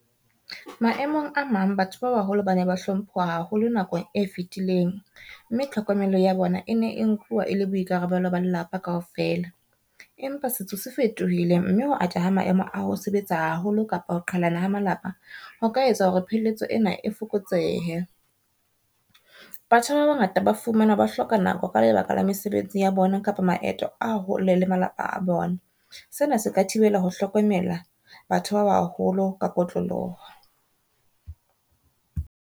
Maemong a mang batho ba baholo ba ne ba hlomphwa haholo nakong e fitileng, mme tlhokomelo ya bona e ne e nkuwa e le boikarabelo ba lelapa kaofela. Empa setso se fetohile mme ho atleha ha maemo a ho sebetsa haholo kapa ho qhalana ha malapa ho ka etsa hore pheletso ena e fokotsehe. Batjha ba bangata ba fumanwa ba hloka nako ka lebaka la mesebetsi ya bona kapa maeto a hole le malapa a bona. Sena se ka thibela ho hlokomela batho ba baholo ka kotloloho.